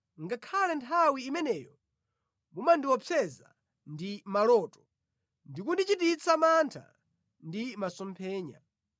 ngakhale nthawi imeneyo mumandiopseza ndi maloto ndi kundichititsa mantha ndi masomphenya,